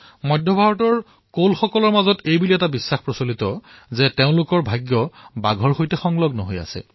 মধ্য ভাৰতৰ কোল সম্প্ৰদায়ে তেওঁলোকৰ ভাগ্য বাঘৰ সৈতে জড়িত বুলি বিশ্বাস কৰে